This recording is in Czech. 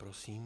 Prosím.